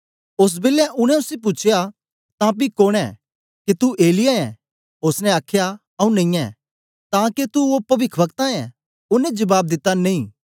ओस बेलै उनै उसी पूछया तां पी कोन ऐं के तू एलिय्याह ऐं ओसने आखया आऊँ नेईयैं तां के तू ओ पविखवक्ता ऐं ओनें जबाब दिता नेई